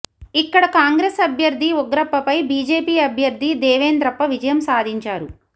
ఇక్కడ కాంగ్రెస్ అభ్యర్థి ఉగ్రప్పపై బీజేపీ అభ్యర్థి దేవేంద్రప్ప విజయం సాధించారు